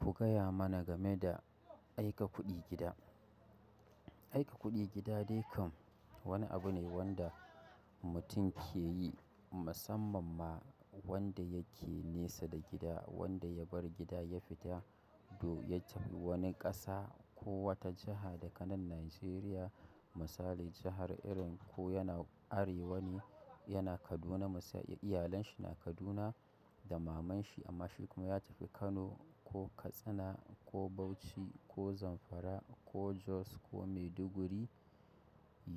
Ku gaya mana game da aika kuɗi gida. Aika kuɗi gida dai kam wani abu ne wanda mutum ke yi, musamman ma wanda yake nesa da gida, wanda ya bar gida ya fita, to ya tafi wani ƙasa ko wata jiha daga nan Nijeriya. Misali jahar irin ko yana Arewa ne, yana Kaduna, iyalan shi na Kaduna da maman shi amma shi kuma ya tafi Kano ko Katsina ko Bauchi ko Zamfara ko Jos ko Maiduguri,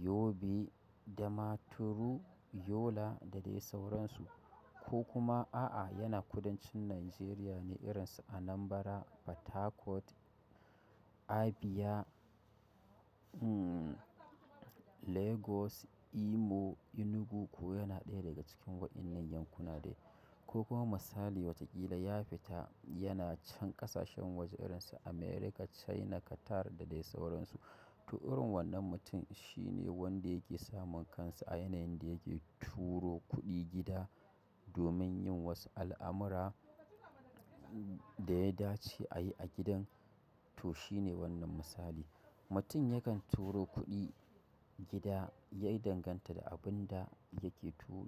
Yobe, Damaturu, Yola da dai sauransu. Ko kuma a'a yana kudancin nijeriya ne, irinsu Anambraa, PortHarcourt, Abia Lagos, Imo, Enugu ko yana ɗaya daga cikin waɗannan yankuna de ko kuma misali wataƙila ya fita yana can ƙasashen waje irin su America, China, Qatar da dai sauransu. To, irin wannan mutum shine wanda yake samun kansa a yanayin da yake turo kuɗi gida domin yin wasu al'amura da ya dace a yi a gidan. To, shi ne wannan misali. Mutum yakan turo kuɗi gida, ya danganta da abun da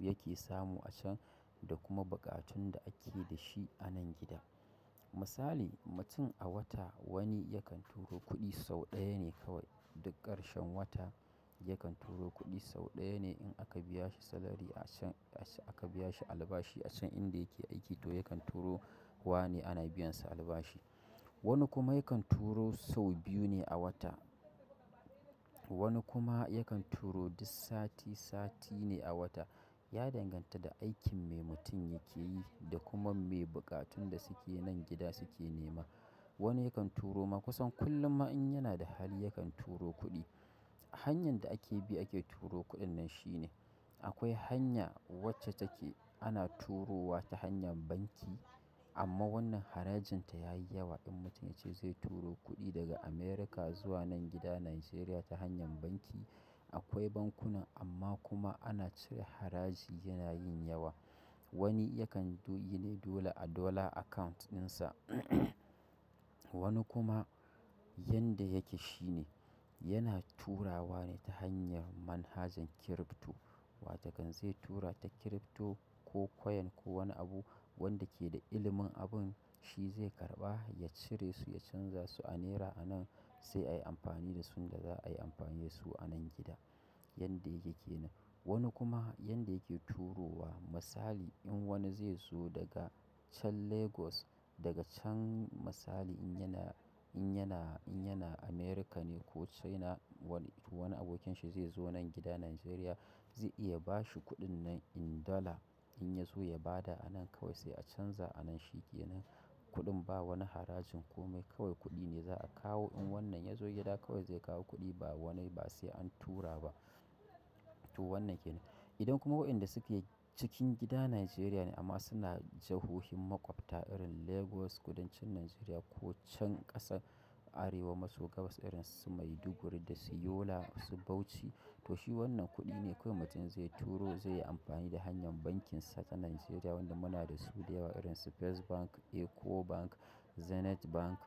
yake samu a can da kuma buƙatun da ake da shi a nan gida. Misali, mutum a wata wani yakan turo kuɗi sau ɗaya ne kawai duk ƙarshen wata yakan turo kuɗi sau ɗaya ne in aka biya shi salary a can, aka biya shi albashi a can inda yake aiki. To, yakan turowa ne ana biyansa albashi. Wani kuma yakan turo sau biyu ne a wata. Wani kuma yakan turo duk sati sati ne a wata. Ya danganta da aikin mai mutum yake yi da kuma me buƙatun da suke nan gida suke nema. Wani yakan turo ma kusan kullum in yana da hali yakan turo kuɗi. Hanyan da ake bi ake turo kuɗin nan shi ne. Akwai hanya wacce take ana turowa ta hanyar banki amma wannan harajin ta yayi yawa. In mutum ya ce zai turo kuɗi daga America zuwa nan gida Nigeria ta hanyar banki, akwai bankunan amma kuma ana cire haraji yana yin yawa. Wani yakan yi ne dole a dollar account dinsa. Wani kuma yanda yake shine, yana turawa ne ta hanya manhajar crypto, watokan zai tura ta crypto ko coin ko wani abu, wanda ke da ilimin abin shi zai karɓa ya cire su ya chanza su a naira anan sai ayi amfani dasu da abinda za'ayi anan gida. Yanda yake kenan. Wani kuma yanda yake turo wa misali in wani zai zo daga can Lagos, daga can misali in yana, in yana, in yana America ne ko China wani abokin shi zai zo nan gida Nigeria zai iya bashi kuɗin nan in dollar in ya zo ya ba da a nan kawai sai a canza a nan shi kenan kuɗin ba wani harajin kome kawai kuɗi ne za a kawo in wannan ya zo gida kawai zai kawo kuɗi ba wani ba sai an tura ba. To wannan kenan. Idan kuma wayanda suke cikin gida Nigeria ne amma suna jahohin maƙwabta irin Lagos kudancin Nigeria ko can ƙasar Arewa maso gabas irin su Maiduguri da su Yola, su Bauchi. To shi wannan kuɗi ne kawai mutum zai turo zai yi amfani da hanyar bankinsa ta Nigeria wanda muna da su da yawa irin su First Bank, Eco Bank, Zenith Bank.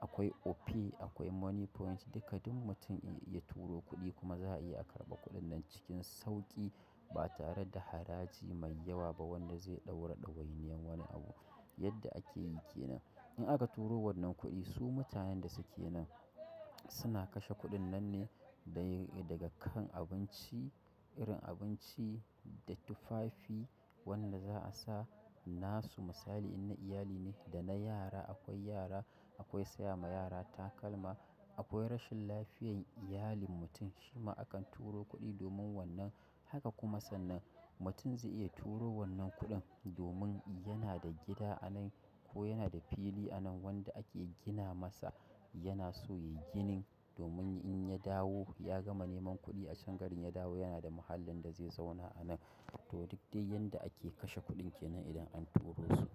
Akwai Opay, akwai Moniepoint. Duka duk mutum ya turo kuɗi kuma za a iya karɓa kuɗin nan cikin sauƙi ba tare da haraji mai yawa ba wanda zai ɗaura ɗawainiyar wani abu. Yadda ake yi kenan. In aka turo wannan kuɗi, su mutanen da suke nan suna kashe kuɗin nan ne daga kan abinci irin abinci da tufafi wanda za a sa nasu misali in na iyali ne da na yara. Akwai yara, akwai saya ma yara takalma, akwai rashin lafiyar iyalin mutum shima akan turo kuɗi domin wannan. Haka kuma sannan. Mutum zai iya turo wannan kuɗin domin yana da gida a nan ko yana da fili a nan wanda ake gina masa. Yana so ya ginin domin in ya dawo ya gama neman kuɗi a can garin ya dawo yana da mahallin da zai zauna a nan. To, duk dai yanda ake kashe kuɗin kenan idan an turo su.